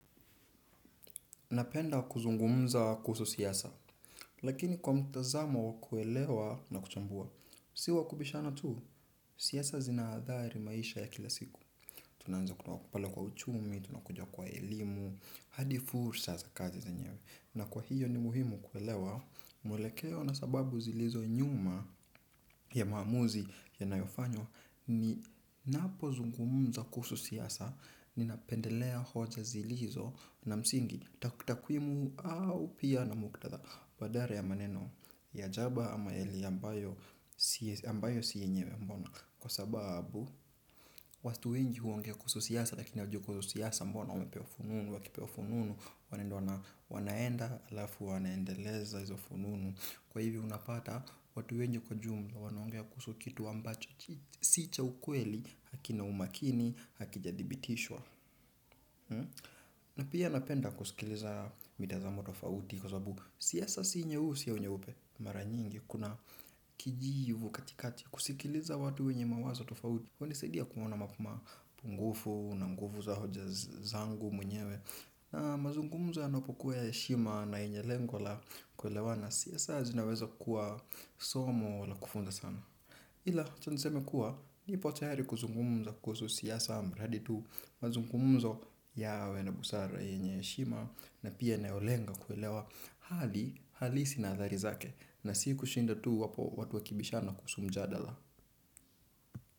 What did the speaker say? Napenda kuzungumza kuhusu siasa, lakini kwa mtazamo wakuelewa na kuchambua, si wakubishana tu, siasa zinaadhali maisha ya kila siku. Tunaanza kutoka pale kwa uchumi, tunakujua kwa elimu, hadi fursa za kazi zenyewe. Na kwa hiyo ni muhimu kuelewa mwelekeo na sababu zilizo nyuma ya maamuzi yanayofanywa ni napo zungumza kuhusu siasa, ninapendelea hoja zilizo na msingi, takwimu au pia na muktadha badala ya maneno ya jaba ama heli ambayo ambayo si yenyewe, mbona. Kwa sababu, watu wengi huongea kuhusu siasa lakini huwajui kwa hio siasa mbona wamepewa fununu, wakipewa fununu. Wanaenda alafu wanaendeleza hizo fununu. Kwa hivo unapata, watu wengi kwa ujumla wanaongea kuhusu kitu ambacho sicha ukweli, hakina umakini, hakijadhibitishwa. Na pia napenda kusikiliza mitazamo tofauti kwa sababu siasa si nyeusi au nyeupe. Maranyingi kuna kijivu katikati, kusikiliza watu wenye mawazo tofauti hunisadia kuona mapungufu na nguvu za hoja zangu mwenyewe. Na mazungumzo yanapokuwa ya heshima na yenye lengo la kuelewana, siasa zinaweza kuwa somo la kufunza sana. Ila acha niseme kuwa, nipo tayari kuzungumza kuhusu siasa mradi tu, mazungumzo yawe na busara yenye heshima na pia inayolenga kuelewa hali halisi na athari zake na siku shinda tu hapo watu wakibishana kuhusu mjadala.